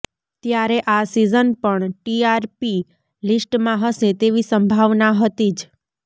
ત્યારે આ સીઝન પણ ટીઆરપી લિસ્ટમાં હશે તેવી સંભાવના હતી જ